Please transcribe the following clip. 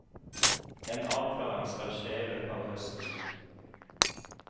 En avklaring skal skje i løpet av høsten.